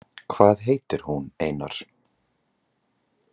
Hvað heitir hún, Einar?